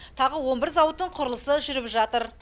тағы он бір зауыттың құрылысы жүріп жатыр